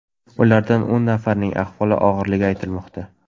Ulardan o‘n nafarining ahvoli og‘irligi aytilmoqda.